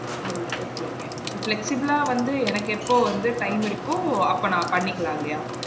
O~ okay okay so flexible ஆ வந்து எனக்கு எப்போ வந்து time இருக்கோ அப்ப நா பண்ணிக்கலாம் இல்லையா